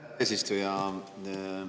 Aitäh, härra eesistuja!